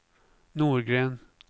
Norgren